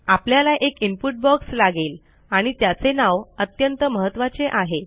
आपल्याला एक input box लागेल आणि त्याचे नाव अत्यंत महत्त्वाचे आहे